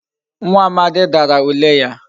Nwa Amadi Dara ule ya